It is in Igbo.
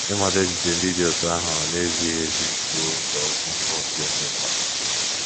Ịmata echiche ndị dị otú ahụ na - ezighị ezi bụ nzọụkwụ mbụ dị oké mkpa.